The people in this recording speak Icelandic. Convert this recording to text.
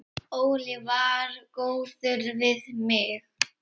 Óli var góður við mig.